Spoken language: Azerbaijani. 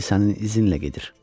İndi sənin izinlə gedir.